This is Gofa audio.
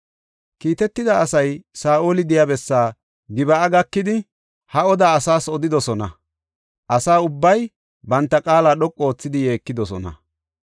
Kiitetida asay Saa7oli de7iya bessaa Gib7a gakidi ha odaa asaas odidosona; asa ubbay banta qaala dhoqu oothidi yeekidosona.